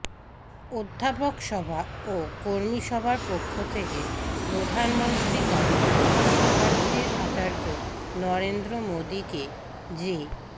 অধ্যাপকসভা ও কর্মীসভার পক্ষ থেকে প্রধানমন্ত্রী তথা বিশ্বভারতীর আচার্য নরেন্দ্র মোদীকে যে